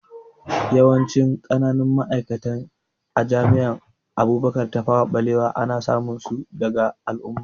Yawancin ƙananun ma'aikata a jami'an Abubakar Tafawa Balewa ana samun su daga al'umma